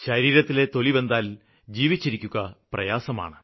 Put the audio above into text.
ശരീരത്തിലെ തൊലി വെന്താല് ജീവിച്ചിരിക്കുക പ്രയാസമാണ്